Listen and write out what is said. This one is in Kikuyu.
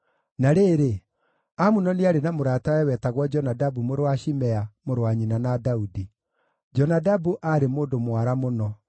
Na rĩrĩ, Amunoni aarĩ na mũratawe wetagwo Jonadabu mũrũ wa Shimea, mũrũ wa nyina na Daudi. Jonadabu aarĩ mũndũ mwara mũno.